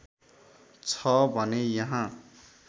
छ भने यहाँ